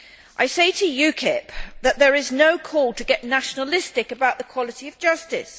I say to UKIP that there is no call to get nationalistic about the quality of justice.